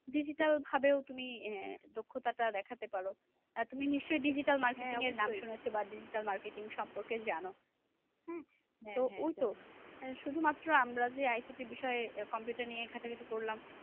Digital ভাবেও তুমি আহ দক্ষতাটা দেখাতে পারো। আহ তুমি নিশ্চয়ই digital marketing এর নাম শুনেছো বা digital marketing সম্পর্কে জানো হ্যাঁ? ঐতো শুধুমাত্র আমরা যে ICT বিষয়ে computer নিয়ে ঘাটাঘাটি করলাম,